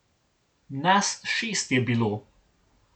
Nas šest je bilo.